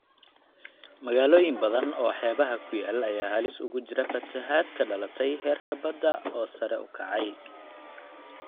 Magaalooyin badan oo xeebaha ku yaal ayaa halis ugu jira fatahaad ka dhalatay heerka badda oo sare u kacay.